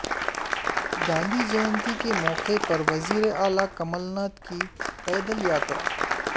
گاندھی جینتی کے موقع پر وزیر اعلی کمل ناتھ کی پیدل یاترا